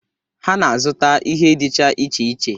Ha na-azụta ihe dịcha iche iche.